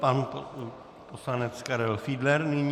Pan poslanec Karel Fiedler nyní.